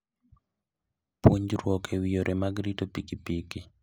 Puonjruok e wi yore mag rito pikipiki.